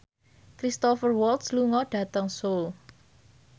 Cristhoper Waltz lunga dhateng Seoul